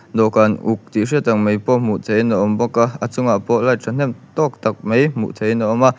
dawhkan uk tih hriat tak mai pawh hmuh theih in a awm bawk a a chungah pawh light thahnem tawk tak mai hmuh theih in a awm a--